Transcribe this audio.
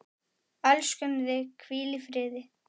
Elskum þig, hvíl í friði.